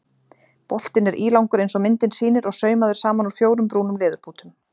Boltinn er ílangur eins og myndin sýnir og saumaður saman úr fjórum brúnum leðurbútum.